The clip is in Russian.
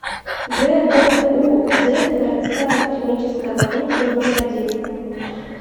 гбуз городская клиническая больница номер один